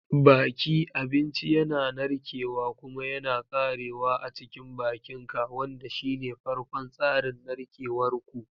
Baki: Abinci yana narkewa kuma yana karyewa a cikin bakinka, wanda shine farkon tsarin narkewar ku.